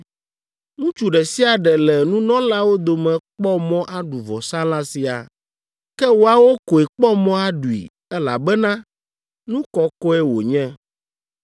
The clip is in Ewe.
Ŋutsu ɖe sia ɖe le nunɔlawo dome kpɔ mɔ aɖu vɔsalã sia. Ke woawo koe kpɔ mɔ aɖui, elabena nu kɔkɔe wònye.